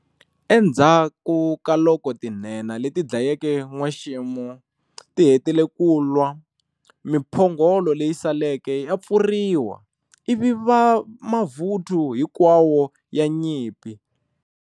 Enzhaku ka loko tinhenha leti dlayeke n'wexemo ti hetile kunwa, miphongolo leyi saleke ya pfuriwa ivi mavuthu hinkwawo ya nyimpi.